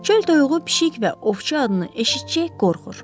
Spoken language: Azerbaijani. Çöl toyuğu pişik və ovçu adını eşitcək qorxur.